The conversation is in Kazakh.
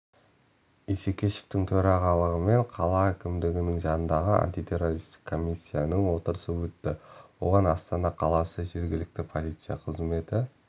исекешевтің төрағалығымен қала әкімдігінің жанындағы антитеррористік комиссияның отырысы өтті оған астана қаласы жергілікті полиция қызметі